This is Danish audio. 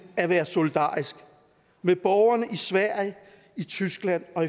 at være solidarisk med borgerne i sverige i tyskland og